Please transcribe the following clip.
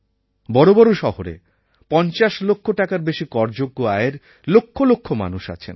বড়ো বড়ো শহরে পঞ্চাশ লক্ষ টাকার বেশি করযোগ্য আয়ের লক্ষ লক্ষ মানুষ আছেন